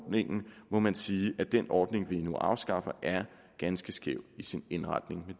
må man sige at den ordning vi nu afskaffer er ganske skæv i sin indretning med